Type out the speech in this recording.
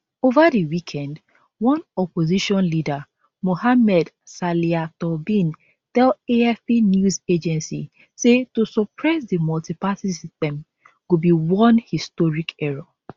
over di weekend one opposition leader mohamed salia tour bin tell afp news agency say to suppress di multiparty system go be one historic error